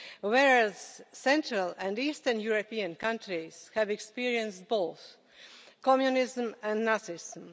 whereas Central and Eastern European countries have experienced both Communism and Nazism.